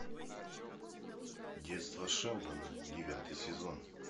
детство шелдона девятый сезон